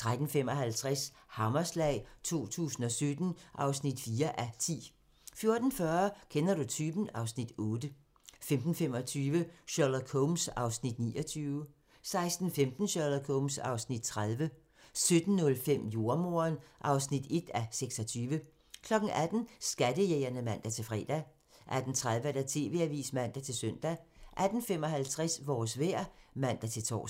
13:55: Hammerslag 2017 (4:10) 14:40: Kender du typen? (Afs. 8) 15:25: Sherlock Holmes (29:45) 16:15: Sherlock Holmes (30:45) 17:05: Jordemoderen (1:26) 18:00: Skattejægerne (man-fre) 18:30: TV-avisen (man-søn) 18:55: Vores vejr (man-tor)